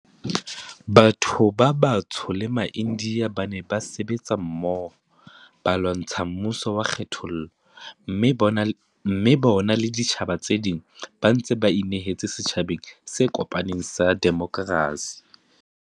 Batho ba batsho le maIndiya ba ne ba sebetsa mmoho ba lwantsha mmuso wa kgethollo, mme bona le ditjhaba tse ding ba ntse ba inehetse setjhabeng se kopaneng sa demokrasi.